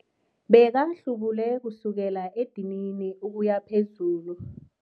Bekahlubule kusukela edinini ukuya phezulu.